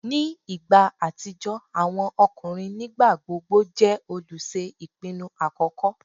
Ni igba atijọ, awọn ọkunrin nigbagbogbo jẹ oluṣe ipinnu akọkọ